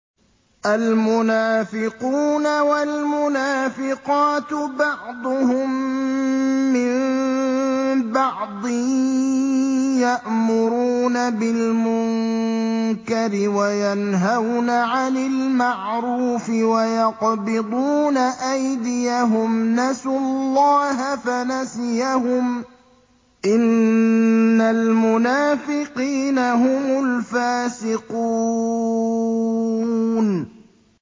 الْمُنَافِقُونَ وَالْمُنَافِقَاتُ بَعْضُهُم مِّن بَعْضٍ ۚ يَأْمُرُونَ بِالْمُنكَرِ وَيَنْهَوْنَ عَنِ الْمَعْرُوفِ وَيَقْبِضُونَ أَيْدِيَهُمْ ۚ نَسُوا اللَّهَ فَنَسِيَهُمْ ۗ إِنَّ الْمُنَافِقِينَ هُمُ الْفَاسِقُونَ